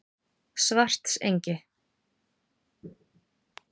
Svartsengi